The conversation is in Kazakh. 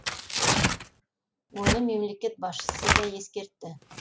оны мемлекет басшысы да ескертті